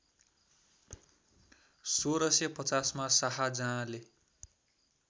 १६५० मा शाहजहाँले